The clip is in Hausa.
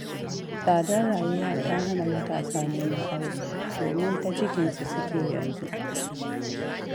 Tsadar rayuwa ta hana matasa neman aure, domin ta cikinsu suke yanzu.